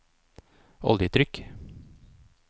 oljetrykk